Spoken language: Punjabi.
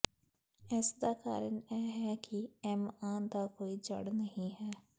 ਇਸ ਦਾ ਕਾਰਨ ਇਹ ਹੈ ਕਿ ਐਮਆਂ ਦਾ ਕੋਈ ਜੜ ਨਹੀਂ ਹੈ